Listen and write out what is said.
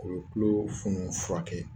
O bɛ tulo funu furakɛ.